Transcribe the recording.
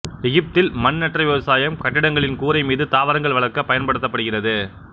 எகிப்தில் மண்அற்ற விவசாயம் கட்டிடங்களின் கூரை மீது தாவரங்கள் வளர்க்க பயன்படுத்தப்படுகிறது